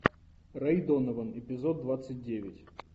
рэй донован эпизод двадцать девять